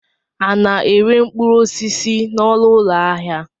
A na-ere mkpụrụosisi n'ọnụụlọ ahịa?